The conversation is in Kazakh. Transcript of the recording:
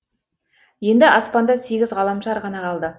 енді аспанда сегіз ғаламшар ғана қалды